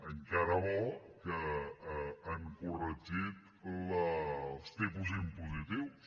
encara bo que han corregit els tipus impositius